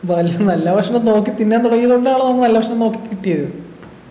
നല്ല ഭക്ഷണം നോക്കി തിന്നാൻ തുടങ്ങിയത് കൊണ്ടാണല്ലോ നമ്മ നല്ല ഭക്ഷണം നോക്കി കിട്ടിയത്